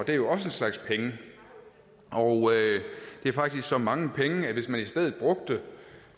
jo også en slags penge det er faktisk så mange penge at hvis man i stedet brugte